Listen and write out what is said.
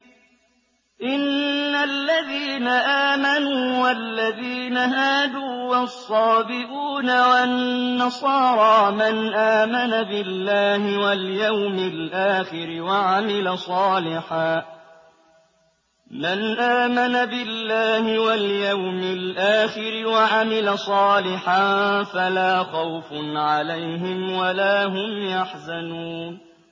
إِنَّ الَّذِينَ آمَنُوا وَالَّذِينَ هَادُوا وَالصَّابِئُونَ وَالنَّصَارَىٰ مَنْ آمَنَ بِاللَّهِ وَالْيَوْمِ الْآخِرِ وَعَمِلَ صَالِحًا فَلَا خَوْفٌ عَلَيْهِمْ وَلَا هُمْ يَحْزَنُونَ